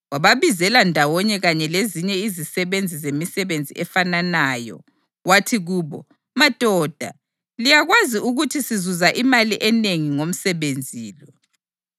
Wababizela ndawonye kanye lezinye izisebenzi zemisebenzi efananayo wathi kubo, “Madoda, liyakwazi ukuthi sizuza imali enengi ngomsebenzi lo.